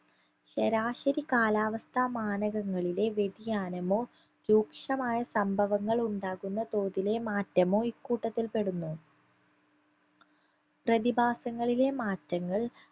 ശരാശരി കാലാവസ്ഥാ മാനഗങ്ങളിലെ വ്യതിയാനമോ രൂക്ഷമായ സംഭവങ്ങളുണ്ടാകുന്ന തോതിലെ മാറ്റമോ ഇക്കൂട്ടത്തിൽ പെടുന്നു പ്രതിഭാസങ്ങളിലെ മാറ്റങ്ങൾ